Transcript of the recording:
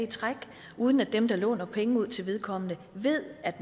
i træk uden at dem som låner penge ud til vedkommende ved at